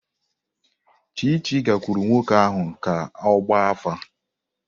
Chichi gakwuru nwoke ahu ka ogba afa.